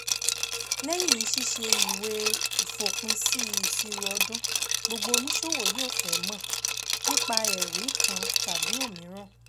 Lẹ́yìn ṣíṣe ìwé ìfòpinsí ìṣirò ọdún, gbogbo oníṣòwò yóò fẹ́ mọ̀ nípa ẹ̀rí kan tàbí òmíràn.